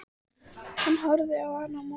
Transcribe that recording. Hann horfði á hann á móti.